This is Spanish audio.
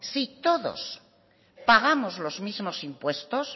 si todos pagamos los mismos impuestos